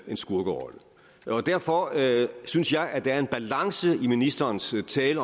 skurkerolle derfor synes jeg at der er en balance i ministerens tale